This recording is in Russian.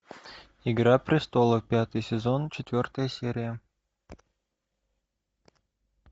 игра престолов пятый сезон четвертая серия